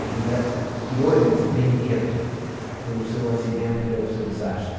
A vida tirou-lhe esse brinquedo pelo seu acidente, pelo seu desastre.